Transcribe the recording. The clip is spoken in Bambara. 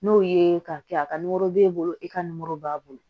N'o ye k'a kɛ a ka nimoro b'e bolo e ka b'a bolo